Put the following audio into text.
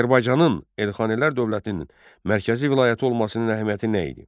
Azərbaycanın Elxanilər dövlətinin mərkəzi vilayəti olmasının əhəmiyyəti nə idi?